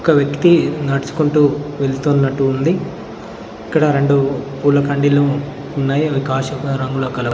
ఒక వ్యక్తి నడుచుకుంటూ వెళుతున్నట్టు ఉంది ఇక్కడ రెండు పూల కండీలు ఉన్నాయి అవి కాషాయ రంగులో కలవు.